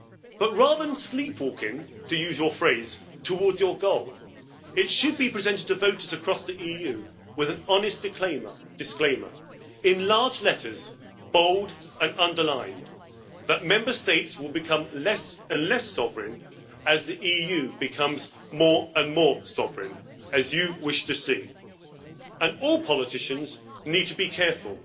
But rather than sleepwalking to use your phrase towards your goal, it should be presented to voters across the EU, with an honest disclaimer, in large letters, bold and underlined, that Member States will become less and less sovereign as the EU becomes more and more sovereign, as you wish to see. All politicians need to be careful.